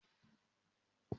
Mo má ra bucket dúdú